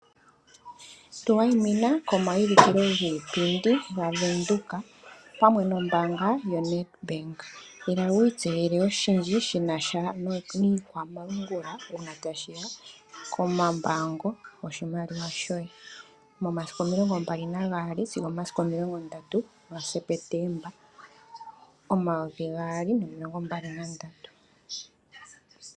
Tu wayina komayulikolo giipayipindi gaVenduka opamwe nombanga yoNEDBANk. Ila wiitseyele oshindji shina sha niikwamalungula una tashiya komambango goshimaliwa shoye momasiku omilongombali nagaali (22) sigo omomasiku omilongondatu (30) gaSepetemba omayovi gaali nomilongombali nandatu (2023).